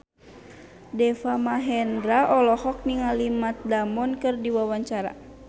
Deva Mahendra olohok ningali Matt Damon keur diwawancara